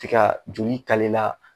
Ti ka joli